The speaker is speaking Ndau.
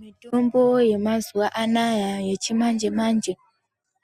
Mitombo yemazuwa anaya yechimanje manje